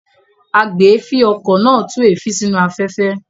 Agbèéfín-okọ̀ náà tú èéfín sínú afẹ́fẹ́.